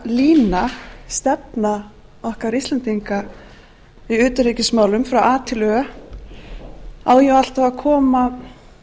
lína stefna okkar íslendinga í utanríkismálum frá a til ö á jú alltaf að koma